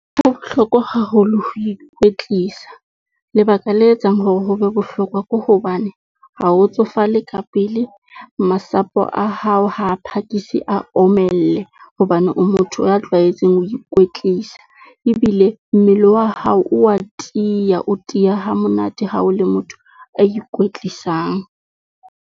Ho bohlokwa haholo ho ikwetlisa, lebaka le etsang hore ho be bohlokwa ko hobane ha o tsofale ka pele masapo a hao, ha a phakisi a omelle, hobane o motho a tlwaetseng ho ikwetlisa. Ebile mmele wa hao o a tiya, o tiya ha monate ha o le motho a ikwetlisang.